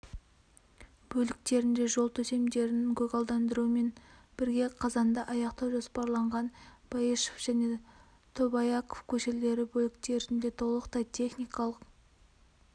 бөліктерінде жол төсемдерін көгалдандырумен бірге қазанда аяқтау жоспарланған баишев және тобаяков көшелері бөліктерінде толықтай техникалық